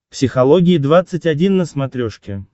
психология двадцать один на смотрешке